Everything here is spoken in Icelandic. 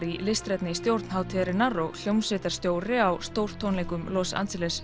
í listrænni stjórn hátíðarinnar og hljómsveitarstjóri á stórtónleikum Los Angeles